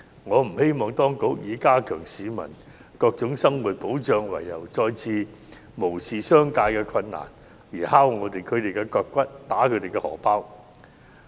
我不希望當局以加強市民各種生活保障為由再次無視商界的困難，"敲其腳骨，打其荷包"。